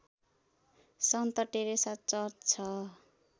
सन्त Teresa church छ